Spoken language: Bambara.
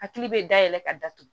Hakili bɛ dayɛlɛ ka datugu